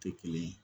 Tɛ kelen ye